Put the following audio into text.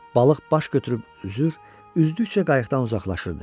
Balıq baş götürüb üzür, üzdükcə qayıqdan uzaqlaşırdı.